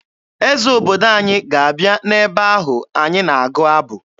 Eze obodo anyị ga-abịa n'ebe ahụ anyị na-agụ abụ